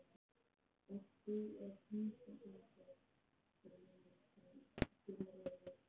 Ert þú að heimsækja einhvern? spurði hann dimmri röddu.